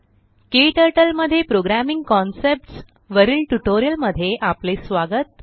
क्टर्टल मध्ये programming concepts वरील tutorial मध्ये आपले स्वागत